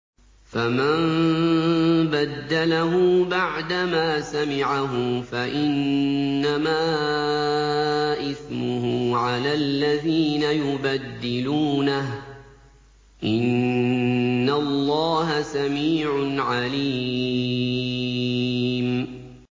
فَمَن بَدَّلَهُ بَعْدَمَا سَمِعَهُ فَإِنَّمَا إِثْمُهُ عَلَى الَّذِينَ يُبَدِّلُونَهُ ۚ إِنَّ اللَّهَ سَمِيعٌ عَلِيمٌ